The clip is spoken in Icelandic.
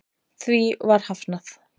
Því var hafnað